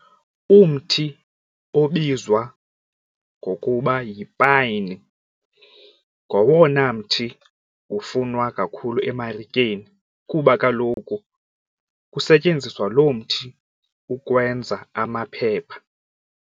Umthi obizwa ngokuba yipayini ngowona mthi ufunwa kakhulu emarikeni kuba kaloku kusetyenziswa lo mthi ukwenza amaphepha.